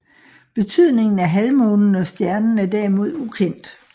Betydningen af halvmånen og stjernen er derimod ukendt